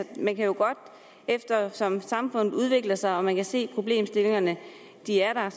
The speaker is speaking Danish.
man jo eftersom samfundet udvikler sig og man kan se at problemstillingerne er der